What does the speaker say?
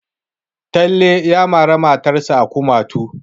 Talle ya mari matarsa a kumatunta.